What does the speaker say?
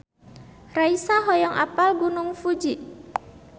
Raisa hoyong apal Gunung Fuji